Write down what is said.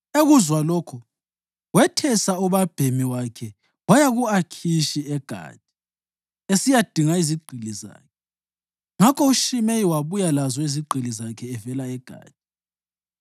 Ekuzwa lokhu, wethesa ubabhemi wakhe waya ku-Akhishi eGathi esiyadinga izigqili zakhe. Ngakho uShimeyi wabuya lazo izigqili zakhe evela eGathi.